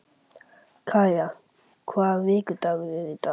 Kaja, hvaða vikudagur er í dag?